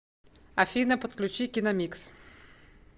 афина подключи киномикс